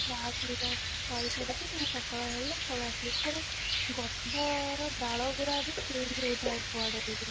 ରାସଲୀଳା କରିସାରିକି ପୁଣି ସକାଳ ହେଲେ ପଳାନ୍ତି ପୁଣି ଗଛର ଡାଳ ଗୁଡା ବି change ହଉଥାଏ କୁଆଡେ ବି